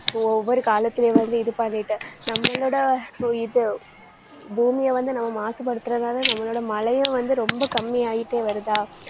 ஒவ்வொரு காலத்திலேயும் வந்து இது பண்ணிட்டு நம்மளோட so இது, பூமியை வந்து நம்ம மாசுபடுத்துறதாலே நம்மளோட மழையும் வந்து ரொம்ப கம்மியாயிட்டே வருதா